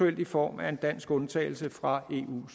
i form af en dansk undtagelse fra